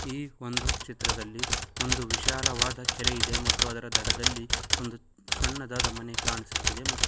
ಈ ಒಂದು ಚಿತ್ರದಲ್ಲಿ ಒಂದು ವಿಶಾಲವಾದ ಕೆರೆ ಇದೆ ಮತ್ತು ಅದರ ದಡದಲ್ಲಿ ಒಂದು ಸಣ್ಣ ಮನೆ ಕಾಣಿಸುತ್ತಿದೆ ಮತ್ --